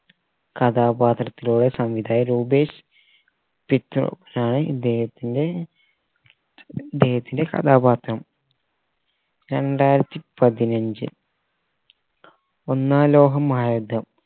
കഥാപാത്രത്തിലൂടെ സംവിധായകൻ രൂപേഷ് ആണ് ഇദ്ദേഹത്തിന്റ ഇദ്ദേഹത്തിന്റെ കഥാപാത്രം രണ്ടായിരത്തി പതിനഞ്ച് ഒന്നാം ലോക മഹായുദ്ധം